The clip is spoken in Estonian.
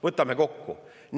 Võtame kokku.